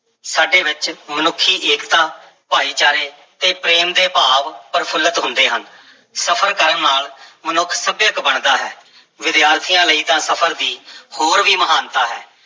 ਸਾਡੇ ਵਿੱਚ ਮਨੁੱਖੀ ਏਕਤਾ, ਭਾਈਚਾਰੇ ਤੇ ਪ੍ਰੇਮ ਦੇ ਭਾਵ ਪ੍ਰਫੁੱਲਤ ਹੁੰਦੇ ਹਨ, ਸਫ਼ਰ ਕਰਨ ਨਾਲ ਮਨੁੱਖ ਸੱਭਿਅਕ ਬਣਦਾ ਹੈ, ਵਿਦਿਆਰਥੀਆਂ ਲਈ ਤਾਂ ਸਫ਼ਰ ਦੀ ਹੋਰ ਵੀ ਮਹਾਨਤਾ ਹੈ।